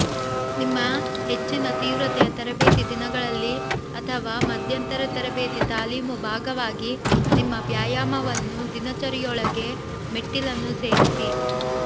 ನಿಮ್ಮ ಹೆಚ್ಚಿನ ತೀವ್ರತೆಯ ತರಬೇತಿ ದಿನಗಳಲ್ಲಿ ಅಥವಾ ಮಧ್ಯಂತರ ತರಬೇತಿ ತಾಲೀಮು ಭಾಗವಾಗಿ ನಿಮ್ಮ ವ್ಯಾಯಾಮವನ್ನು ದಿನಚರಿಯೊಳಗೆ ಮೆಟ್ಟಿಲನ್ನು ಸೇರಿಸಿ